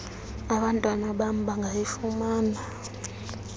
abantwana bam bangayifumana